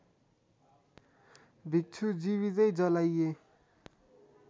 भिक्षु जीवितै जलाइए